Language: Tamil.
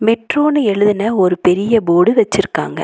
மெட்ரோனு எழுதுன ஒரு பெரிய போர்டு வெச்சிருக்காங்க.